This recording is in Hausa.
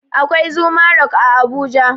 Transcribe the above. Akwai zuma rock a abuja